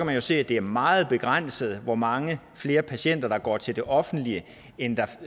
vi jo se at det er meget begrænset hvor mange flere patienter der går til det offentlige end der